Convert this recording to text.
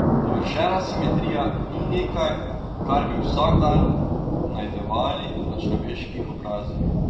Dovršena simetrija ni nekaj, kar bi vsak dan najdevali na človeških obrazih.